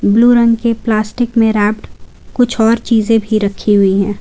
Blue रंग के plastic में रैप्ड कुछ और चीजें भी रखी हुई हैं।